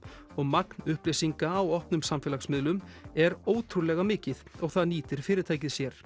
magn upplýsinga á opnum samfélagsmiðlum er ótrúlega mikið og það nýtir fyrirtækið sér